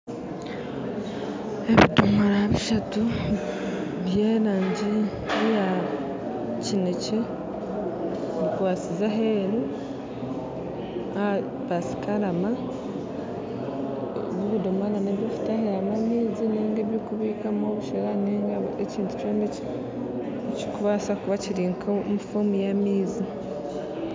Ebidomora bishatu by'erangi eya kinekye bikwatsize aheeru aha pasikarama ebi bidomora n'eby'okutahiramu amaizi nainga eby'okubikamu obushera nainga ekintu kyona ekirikubaasa kuba kiri omu muringo gw'amaizi.